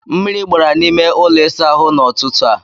Mmiri gbara na n'ime ụlọ ịsa ahụ n'ọtụtụ a.